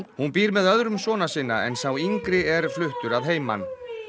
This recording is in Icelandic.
hún býr með öðrum sona sinna en sá yngri er fluttur að heiman